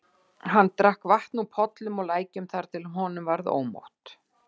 Hann drakk vatn úr pollum og lækjum þar til honum varð ómótt.